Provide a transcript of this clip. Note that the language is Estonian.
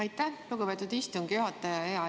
Aitäh, lugupeetud istungi juhataja!